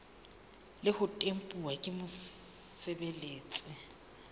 le ho tempuwa ke mosebeletsi